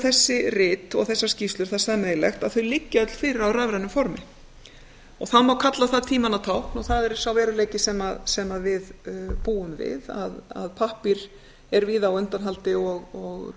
þessi rit og þessar skýrslur það sameiginlegt að þau liggja öll fyrir á rafrænu formi það má kalla það tímanna tákn og það er sá veruleiki sem við búum við að pappír er víða á undanhaldi og